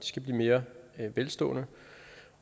skal blive mere velstående